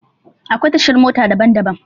Akwai tashar mota daban daban.